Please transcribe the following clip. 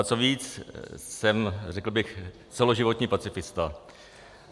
Ba co víc, jsem, řekl bych, celoživotní pacifista.